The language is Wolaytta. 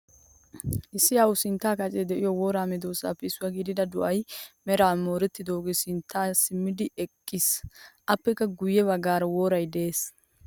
Issi awu sinttan kacce de'iyo wora medosappe issuwaa gidida doay meray morettidoge sinttawu simmidi eqqiis. Appekka giuye baggara woray de'ees.